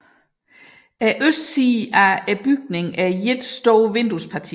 Bygningens østside er et stort vinduesparti